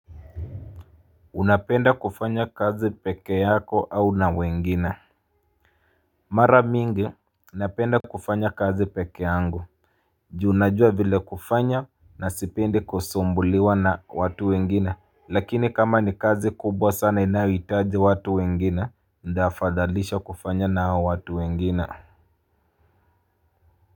Unapenda kufanya kazi peke yako au na wengine Mara mingi napenda kufanya kazi peke yangu. Ju najua vile kufanya na sipendi kusumbuliwa na watu wengine. Lakini kama ni kazi kubwa sana inayohitaji watu wengine, Nafadhalisha kufanya na hao watu wengine.